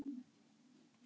Ekki aumt lið það.